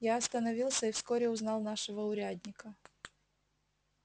я остановился и вскоре узнал нашего урядника